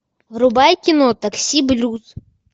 врубай кино такси блюз